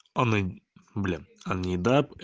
блин